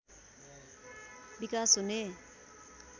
विकास हुने